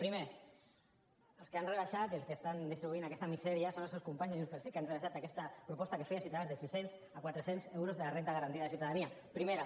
primer els que han rebaixat i els que estan distribuint aquesta misèria són els seus companys de junts pel sí que han rebaixat aquesta proposta que feia ciutadans de sis cents a quatre cents euros de la renda garantida de ciutadania primera